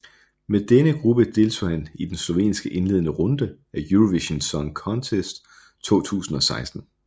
Med denne gruppe deltog han i den slovenske indledende runde af Eurovision Song Contest 2016